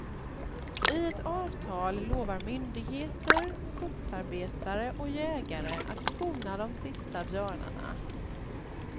I ett avtal lovar myndigheter, skogsarbetare och jägare att skona de sista björnarna.